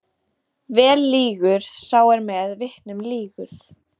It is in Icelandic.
Vel lýgur sá er með vitnum lýgur.